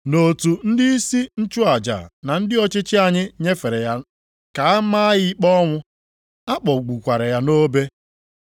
Na otu ndịisi nchụaja na ndị ọchịchị anyị nyefere ya ka a maa ya ikpe ọnwụ, ma kpọgbukwaa ya nʼobe.